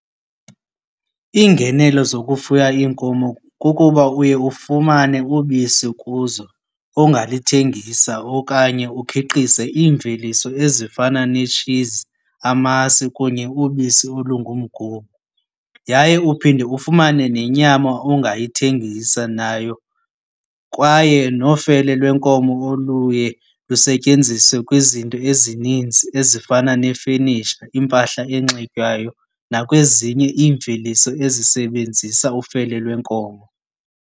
Iingenelo zokufuya iinkomo kukuba uye ufumane ubisi kuzo ongalithengisa okanye ukhiqize iimveliso ezifana netshizi, amasi kunye ubisi olungumgubo. Yaye uphinde ufumane nenyama ongayithengisa nayo, kwaye nofele lwenkomo oluye lusetyenziswe kwizinto ezininzi ezifana nee-furniture, impahla enxitywayo nakwezinye iimveliso ezisebenzisa ufele lwenkomo.